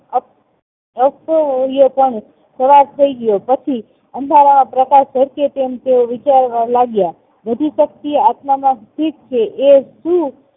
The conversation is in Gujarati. પણ સવાર થાય ગયો પછી અંધારામાં પ્રકાશ ઝળકે તેમ તેઓ વીંચારવા લાગ્યા બધી શક્તિ આત્મા માં સ્થિર છે એ સુ